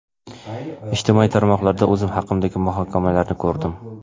Ijtimoiy tarmoqlarda o‘zim haqimdagi muhokamalarni ko‘rdim.